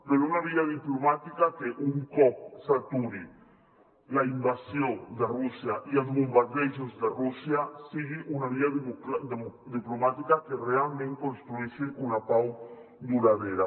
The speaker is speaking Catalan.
per una via diplomàtica que un cop s’aturin la invasió de rússia i els bombardejos de rússia sigui una via diplomà·tica que realment construeixi una pau duradora